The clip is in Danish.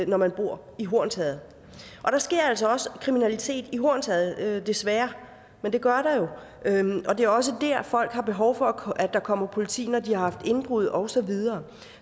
når man bor i hornsherred og der sker altså også kriminalitet i hornsherred desværre men det gør der jo og det er også det at folk har behov for at der kommer politi når de har haft indbrud og så videre